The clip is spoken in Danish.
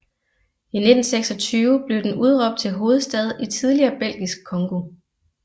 I 1926 blev den udråbt til hovedstad i tidligere Belgisk Congo